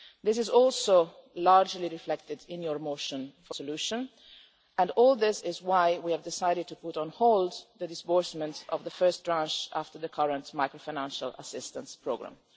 This is also largely reflected in your motion for a resolution, and all this is why we have decided to put on hold the disbursement of the first tranche after the current macro-financial assistance programme.